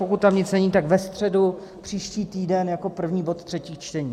Pokud tam nic není, tak ve středu příští týden jako první bod třetích čtení.